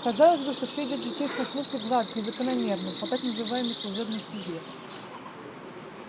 казалось бы что все идёт в житейском смысле гладко и закономерно по так называемой служебной стезе